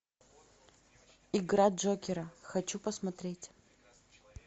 игра джокера хочу посмотреть